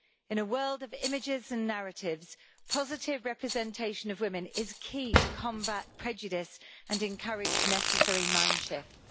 In a world of images and narratives, positive representation of women is key to combating prejudice and encourage necessary mind shifts.